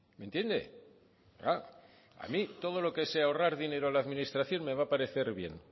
me entiende a mí todo lo que sea ahorrar dinero a la administración me va a parecer bien